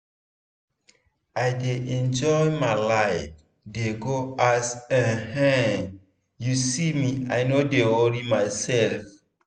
i dey enjoy my life dey go as um you see me i no dey worry myself.